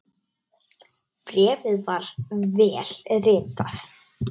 Bréfið var vel ritað.